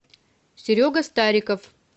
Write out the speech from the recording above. серега стариков